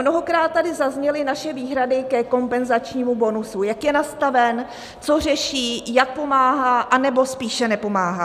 Mnohokrát tady zazněly naše výhrady ke kompenzačnímu bonusu, jak je nastaven, co řeší, jak pomáhá anebo spíše nepomáhá.